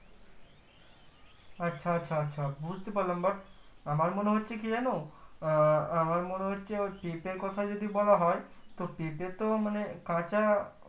আচ্ছা আচ্ছা আচ্ছা বুজতে পারলাম but আমার মনে হচ্ছে কি যান আহ আমার মনে হচ্ছে হচ্ছে ওই পেঁপের কোথা যদি বলা হয় তো পেঁপে তো মানে কাঁচা